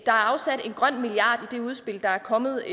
er afsat en grøn milliard i det udspil der er kommet